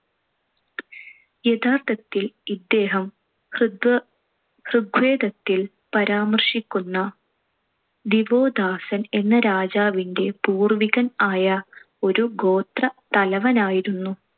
യഥാർത്ഥത്തിൽ ഇദ്ദേഹം ഋഗ്~ ഋഗ്വേദത്തിൽ പരാമർശിക്കുന്ന ദിവോദാസൻ എന്ന രാജാവിന്‍റെ പൂർവികൻ ആയ ഒരു ഗോത്ര തലവൻ ആയിരുന്നു.